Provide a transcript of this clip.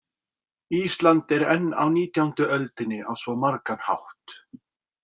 Ísland er enn á nítjándu öldinni á svo margan hátt.